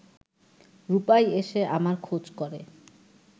রূপাই এসে আমার খোঁজ করে